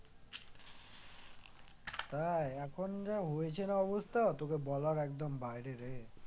তাই এখন যা হয়েছে রে অবস্থা তোকে বলার একদম বাইরে রে